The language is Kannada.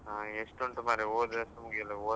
ಹ ಎಸ್ಟು ಅಂತ ಮಾರೆ ಓದಿದಷ್ಟು ಮುಗಿವುದಿಲ್ಲ.